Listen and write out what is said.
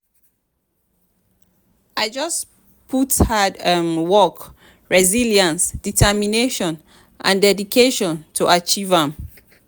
i just put hard um work resilience determination and dedication to achieve am.